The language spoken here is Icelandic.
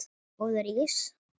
Góður ís?